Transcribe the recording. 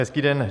Hezký den.